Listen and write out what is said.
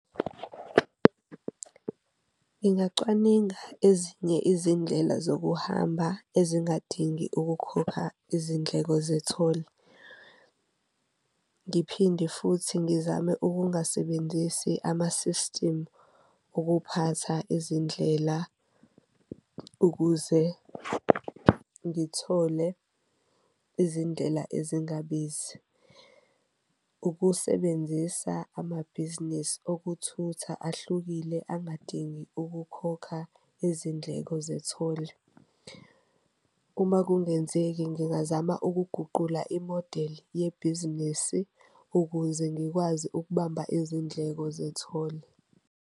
Ngingacwaninga ezinye izindlela zokuhamba ezingadingi ukukhopha izindleko zetholi, ngiphinde futhi ngizame ukungasebenzisi amasisitimu okuphatha izindlela ukuze ngithole izindlela ezingabizi. Ukusebenzisa amabhizinisi okuthutha ahlukile angadingi ukukhokha izindleko zetholi, uma kungenzeki ngingazama ukuguqula imodeli yebhizinisi ukuze ngikwazi ukubamba izindleko zetholi.